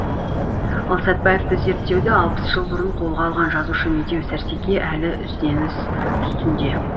ал сәтбаевты зерттеуді алпыс жыл бұрын қолға алған жазушы медеу сәрсеке әлі ізденіс үстінде